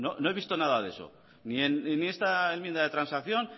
no he visto nada de eso ni en esta enmienda de transacción